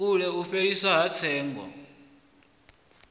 kule u fheliswa ha tsengo